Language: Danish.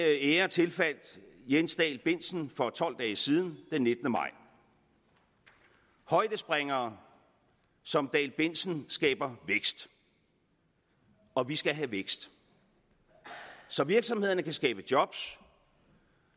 ære tilfaldt jens dall bentzen for tolv dage siden den nittende maj højdespringere som dall bentzen skaber vækst og vi skal have vækst så virksomhederne kan skabe job